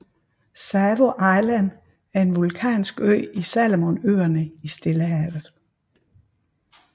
Savo Island er en vulkansk ø i Salomonøerne i Stillehavet